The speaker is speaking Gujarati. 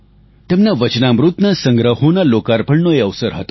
તેમના વચનામૃતના સંગ્રહોના લોકાર્પણનો એ અવસર હતો